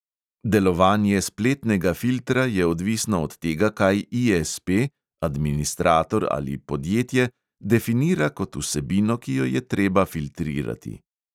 Delovanje spletnega filtra je odvisno od tega, kaj ISP, administrator ali podjetje definira kot vsebino, ki jo je treba filtrirati.